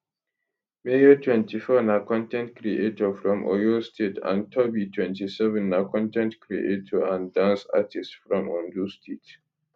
mayor 24 na con ten t creator from oyo state and toby 27 na con ten t creator and dance artiste from ondo state